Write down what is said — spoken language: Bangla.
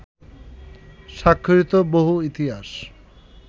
স্বাক্ষরিত বহু ইতিহাস